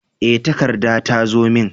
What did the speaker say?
E, takarda ta zo min.